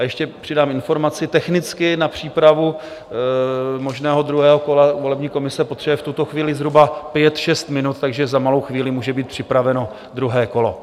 A ještě přidám informaci: technicky na přípravu možného druhého kola volební komise potřebuje v tuto chvíli zhruba pět, šest minut, takže za malou chvíli může být připraveno druhé kolo.